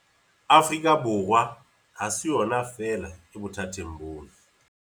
Afrika Borwa ha se yona feela e bothateng bona.